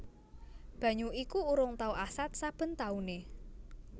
Banyu iku urung tau asat saben taune